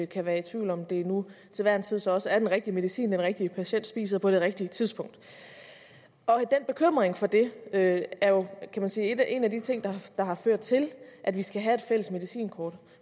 kan være tvivl om det nu til hver en tid så også er den rigtige medicin den rigtige patient spiser på det rigtige tidspunkt den bekymring for det er jo kan man sige en af de ting der har ført til at vi skal have et fælles medicinkort